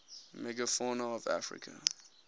megafauna of africa